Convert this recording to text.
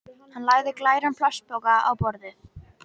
Hann lagði glæran plastpoka á borðið.